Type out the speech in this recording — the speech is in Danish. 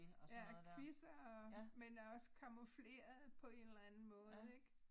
Ja quizzer og men også camoufleret på en eller anden måde ik